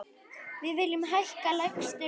Við viljum hækka lægstu launin.